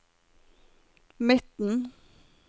midten